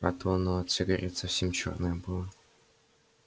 а то оно от сигарет совсем чёрное было